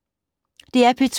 DR P2